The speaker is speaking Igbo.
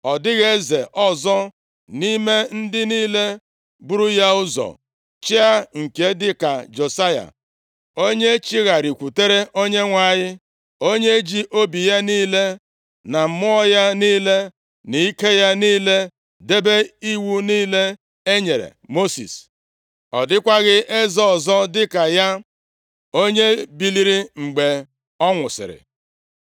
Ọ dịghị eze ọzọ nʼime ndị niile buru ya ụzọ chịa nke dịka Josaya, onye chigharịkwutere Onyenwe anyị. Onye ji obi ya niile, na mmụọ ya niile na ike ya niile debe iwu niile e nyere Mosis. + 23:25 \+xt 2Ez 18:5\+xt* Ọ dịkwaghị eze ọzọ dịka ya, onye biliri mgbe ọ nwụsịrị.